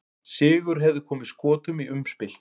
Sigur hefði komið Skotum í umspil.